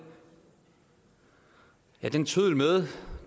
den tøddel med